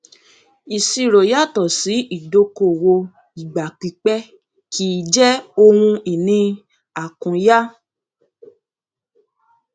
ìṣirò yàtọ sí ìdókòwò ìgbà pípẹ kì í jẹ ohun ìní àkúnya